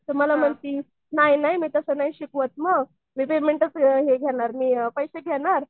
तर मला म्हणती नाही नाही मी तसं नाही शिकवत मग मी पेमेंटच हे घेणार मी पैसे घेणार